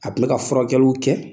A kun bɛ ka furakɛliw kɛ .